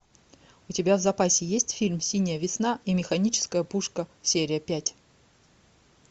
у тебя в запасе есть фильм синяя весна и механическая пушка серия пять